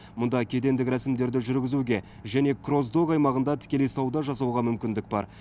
мұнда кедендік рәсімдерді жүргізуге және крос док аймағында тікелей сауда жасауға мүмкіндік бар